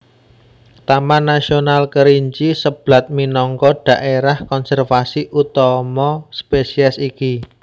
Taman Nasional Kerinci Seblat minangka dhaérah konservasi utama spesies iki